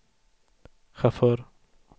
chaufför